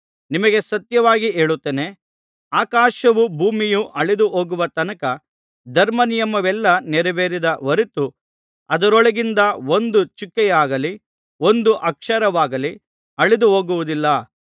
ನಿಮಗೆ ಸತ್ಯವಾಗಿ ಹೇಳುತ್ತೇನೆ ಆಕಾಶವೂ ಭೂಮಿಯೂ ಅಳಿದುಹೋಗುವ ತನಕ ಧರ್ಮನಿಯಮವೆಲ್ಲಾ ನೆರವೇರಿದ ಹೊರತು ಅದರೊಳಗಿಂದ ಒಂದು ಚುಕ್ಕೆಯಾಗಲಿ ಒಂದು ಅಕ್ಷರವಾಗಲಿ ಅಳಿದುಹೋಗುವುದಿಲ್ಲ